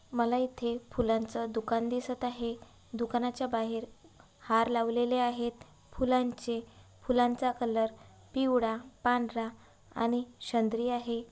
मला इथे फुलांचा दुकान दिसत आहे दुकानाच्या बाहेर हार लावलेले आहेत फुलांचे फुलांचा कलर पिवळा पांढरा आणि शंद्री आहे.